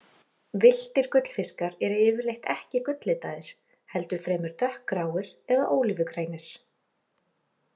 Villtir gullfiskar eru yfirleitt ekki gulllitaðir, heldur fremur dökkgráir eða ólífugrænir.